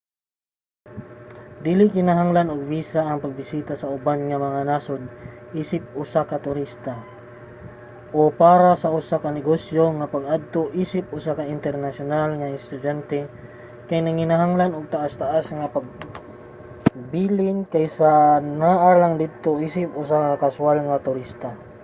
dili kinahanglan og visa ang pagbisita sa uban nga mga nasod isip usa ka turista o para lang sa usa ka negosyo ang pag-adto isip usa ka internasyonal nga estudyante kay nanginahanglan og taas-taas nga pagpabilin kaysa naa lang didto isip usa ka kaswal mga turista